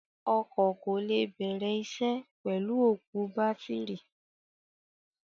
Ọkọ̀ kò lè bẹ̀rẹ̀ isẹ́ pẹ̀lú òkú bátìrì.